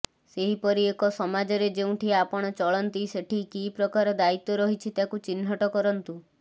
ସେହିପରି ଏକ ସମାଜରେ ଯେଉଁଠି ଆପଣ ଚଳନ୍ତି ସେଠି କି ପ୍ରକାର ଦାୟିତ୍ୱ ରହିଛି ତାକୁ ଚିହ୍ନଟ କରନ୍ତୁ